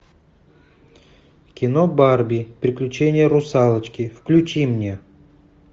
кино барби приключение русалочки включи мне